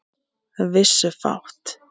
Vissu fátt.